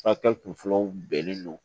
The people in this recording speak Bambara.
kun fɔlɔw bɛnnen don